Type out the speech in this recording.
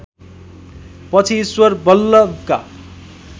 पछि ईश्वर वल्लभका